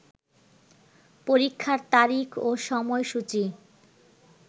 পরীক্ষার তারিখ ও সময়সূচি